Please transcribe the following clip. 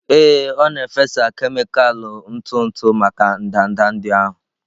Ee, ọ na-efesa kemịkalụ ntụ ntụ maka ndanda ndị ahụ.